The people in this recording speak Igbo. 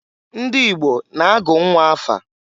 Ndị Igbo na-agụ nnwa afa.